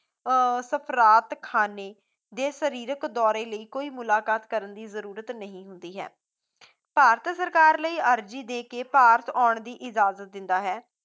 ਅਹ ਸਪਰਾਤ ਖਾਨੇ ਜੇ ਸਰੀਰਕ ਦੌਰੇ ਲਈ ਕੋਈ ਮੁਲਾਕਤ ਕਰਨ ਦੀ ਜਰੂਰਤ ਨਹੀਂ ਹੁੰਦੀ ਹੈ ਭਾਰਤ ਸਰਕਾਰ ਲਈ ਅਰਜ਼ੀ ਦੇ ਕੇ ਭਾਰਤ ਆਉਣ ਦੀ ਇਜਾਜ਼ਤ ਦਿੰਦਾ ਹੈ